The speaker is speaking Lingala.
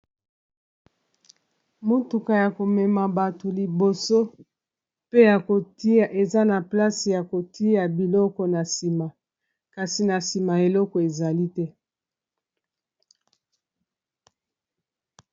Motuka ya komema bato liboso pe ya kotia eza na place ya kotia biloko na nsima kasi na nsima eloko ezali te.